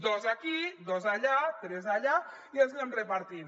dos aquí dos allà tres allà i els anem repartint